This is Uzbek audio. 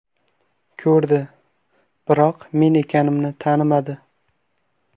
Ko‘rdi, biroq men ekanimni tanimadi.